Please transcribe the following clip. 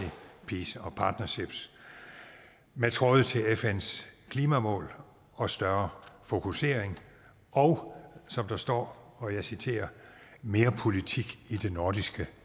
og partnerships med tråde til fns klimamål og større fokusering og som der står og jeg citerer mere politik i det nordiske